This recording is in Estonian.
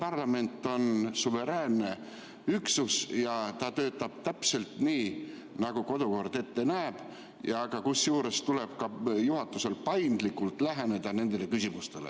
Parlament on suveräänne üksus ja töötab täpselt nii, nagu kodukord ette näeb, kusjuures juhatusel tuleb ka paindlikult läheneda nendele küsimustele.